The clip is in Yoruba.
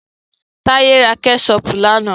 Táyé ra kẹ́ṣọpù lánà.